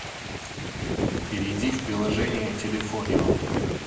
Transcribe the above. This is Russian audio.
перейди в приложение телефонио